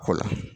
Ko la